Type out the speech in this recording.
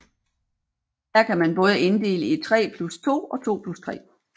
Her kan man både inddele i 3 plus 2 og 2 plus 3